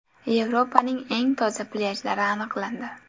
Yevropaning eng toza plyajlari aniqlandi.